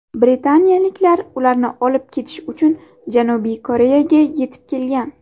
Britaniyaliklar ularni olib ketish uchun Janubiy Koreyaga yetib kelgan.